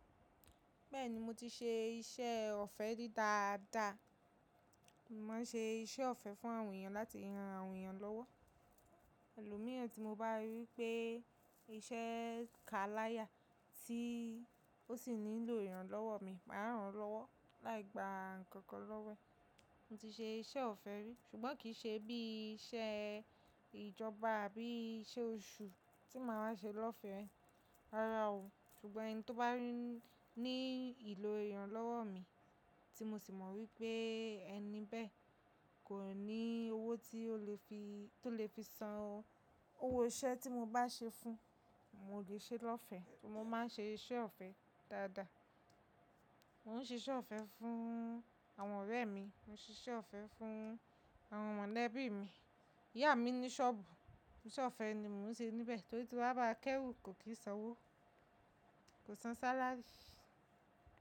Bẹ́ẹ̀ni mo ti ṣe iṣẹ́ ọ̀fẹ́ ri dáadáa. Mo máa ń ṣe iṣẹ́ ọ̀fẹ́ fún àwọn èèyàn láti ràn àwọn èèyàn lọ́wọ́. Ẹ̀lòmíràn tí mo bá rí pé iṣẹ́ kaláyà tí ó sì nílò iranlọ́wọ́ mi, màá ràn án lọ́wọ́. Láì gba nǹkan kan lọ́wọ́ ẹ. Mo ti ṣe iṣẹ́ ọ̀fẹ́ rí ṣùgbọ́n kì í ṣe bí iṣẹ́ ìjọba àbí iṣẹ́ oṣù tí màá ṣe lọ́fẹ̀ẹ́. Rárá o. Ṣùgbọ́n ẹni tó bá ní ìlò èèyàn lọ́wọ́ mi tí mo sì mọ̀ wípé ẹni bẹ́ẹ̀ kò ní owó tí ó lè fi san owó iṣẹ́ tí mo bá ṣe fún un, mo lè ṣe é lọ́fẹ̀ẹ́. Mo máa ń ṣe iṣẹ́ ọ̀fẹ́ dáadáa. Mo ń ṣe iṣẹ́ ọ̀fẹ́ fún àwọn ọ̀rẹ́ mi, mo ń ṣe iṣẹ́ ọ̀fẹ́ fún àwọn mọ̀lẹ́bí mi. Ìyá mi ní ṣọ́ọ̀bù, iṣẹ́ ọ̀fẹ́ ni mò ń ṣe níbẹ̀ torí tí wọ́n bá kéwì kò kí ń san owó, kò san sálárì.